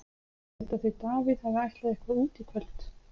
Ég held að þau Davíð hafi ætlað eitthvað út í kvöld.